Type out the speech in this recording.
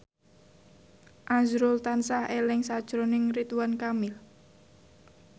azrul tansah eling sakjroning Ridwan Kamil